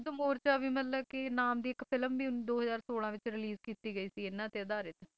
ਧਰਮ ਯੁੱਧ ਮੋਰਚਾ ਵੀ ਮਤਲਬ ਕਿ ਨਾਮ ਦੀ ਇੱਕ film ਵੀ ਦੋ ਹਜ਼ਾਰ ਸੋਲਾਂ ਵਿੱਚ release ਕੀਤੀ ਗਈ ਸੀ ਇਨ੍ਹਾਂ ਤੇ ਅਧਾਰਿਤ